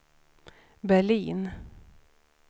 Berlin